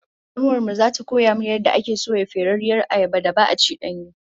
Kanuwar mu zata koya min yadda ake soya ferarriyar ayabar da ba'a ci danye?